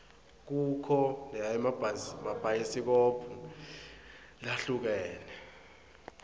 kukho naemabhayisikobho lahlukene